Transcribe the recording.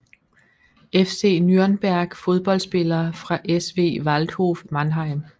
FC Nürnberg Fodboldspillere fra SV Waldhof Mannheim